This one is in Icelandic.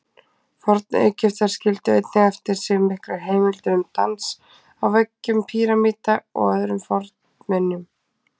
Forn-Egyptar skildu einnig eftir sig miklar heimildir um dans, á veggjum pýramída og öðrum fornminjum.